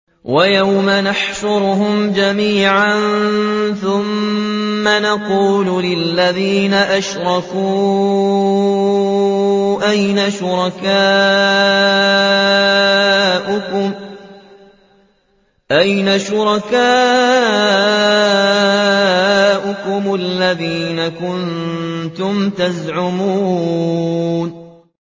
وَيَوْمَ نَحْشُرُهُمْ جَمِيعًا ثُمَّ نَقُولُ لِلَّذِينَ أَشْرَكُوا أَيْنَ شُرَكَاؤُكُمُ الَّذِينَ كُنتُمْ تَزْعُمُونَ